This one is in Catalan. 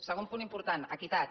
segon punt important equitat